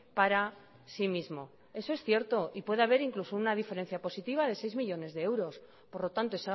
para sí mismo eso es cierto y puede haber incluso una diferencia positiva de seis millónes de euros por lo tanto